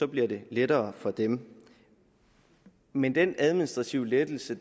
bliver det lettere for dem men den administrative lettelse